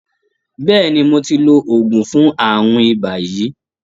Bẹ́ẹ̀ni, mo ti lo oògùn fún àrùn ibà yìí.